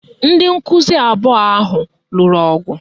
Ndị nkụzi abụọ ahụ lụrụ ọgụ